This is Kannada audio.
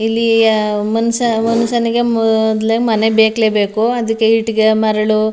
ಇಲ್ಲಿ ಮನುಷ್ಯ ಮನುಷ್ಯನಿಂಗೆ ಮೊದ್ಲೇ ಮನೆ ಬೇಕೇ ಬೇಕು ಅದಕ್ಕೆ ಇಟ್ಟಿಗೆ ಮರಳು --